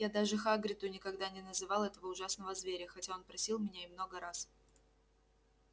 я даже хагриду никогда не называл этого ужасного зверя хотя он просил меня и много раз